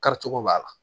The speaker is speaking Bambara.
Karicogo b'a la